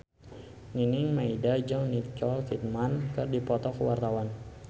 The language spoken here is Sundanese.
Nining Meida jeung Nicole Kidman keur dipoto ku wartawan